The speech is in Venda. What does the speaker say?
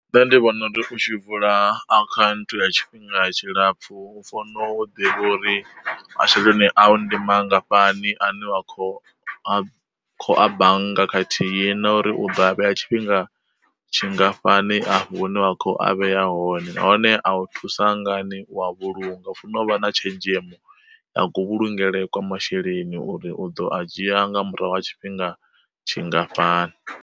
Nṋe ndi vhona uri u tshi vula akhaunthu ya tshifhinga tshilapfu, u funo u ḓivha uri masheleni awu ndi mangafhani ane wa kho a khou a bannga khathihi na uri u ḓo a vheya tshifhinga tshingafhani afho hune wa kho a vhea hone nahone a u thusa ngani u a vhulunga u funa u vha na tshenzhemo ya ku vhulungele kwa masheleni uri u ḓo a dzhia nga murahu ha tshifhinga tshingafhani.